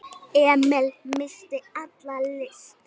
Emil missti alla lyst.